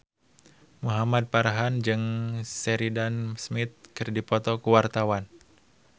Muhamad Farhan jeung Sheridan Smith keur dipoto ku wartawan